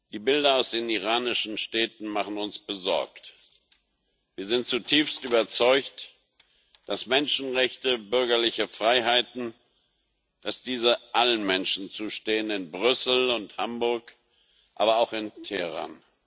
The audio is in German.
Die Bilder aus den iranischen Städten machen uns besorgt. Wir sind zutiefst überzeugt, dass Menschenrechte und bürgerliche Freiheiten allen Menschen zustehen in Brüssel und Hamburg, aber auch in Teheran.